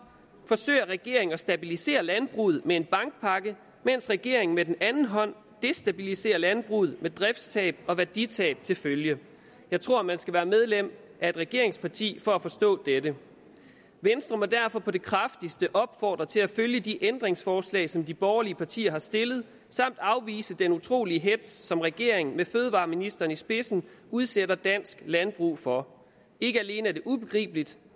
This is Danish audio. forsøger regeringen at stabilisere landbruget med en bankpakke mens regeringen med den anden hånd destabiliserer landbruget med driftstab og værditab til følge jeg tror man skal være medlem af et regeringsparti for at forstå dette venstre må derfor på det kraftigste opfordre til at følge de ændringsforslag som de borgerlige partier har stillet samt afvise den utrolig hetz som regeringen med fødevareministeren i spidsen udsætter dansk landbrug for ikke alene er det ubegribeligt